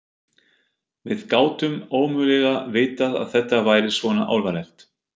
Við gátum ómögulega vitað að þetta væri svona alvarlegt.